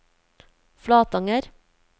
Flatanger